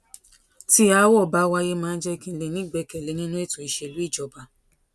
tí aáwò bá wáyé máa ń jé kí n lè ní ìgbékèlé nínú ètò ìṣèlú ìjọba